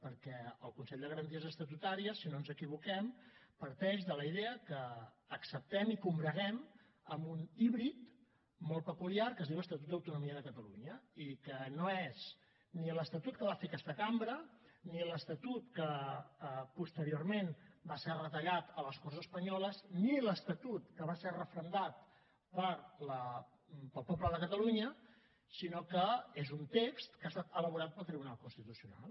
perquè el consell de garanties estatutàries si no ens equivoquem parteix de la idea que acceptem i combreguem amb un híbrid molt peculiar que es diu estatut d’autonomia de catalunya i que no és ni l’estatut que va fer aquesta cambra ni l’estatut que posteriorment va ser retallat a les corts espanyoles ni l’estatut que va ser referendat pel poble de catalunya sinó que és un text que ha estat elaborat pel tribunal constitucional